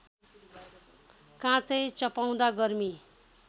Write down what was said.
काँचै चपाउँदा गर्मी